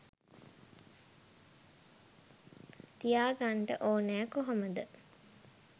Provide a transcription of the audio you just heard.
තියාගන්නට ඕනෑ කොහොමද?